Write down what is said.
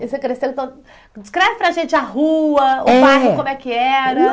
Você cresceu então, descreve para gente a rua, o bairro, como é que era.